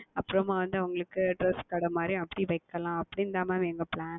அப்புறமாக வந்து அவங்களுக்கு Dress கடை மாதிரி அப்படி வைக்கலாம் அப்படி என்று தான் Mam எங்களுடைய Plan